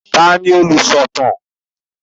Ta ni olùsọ̀tàn?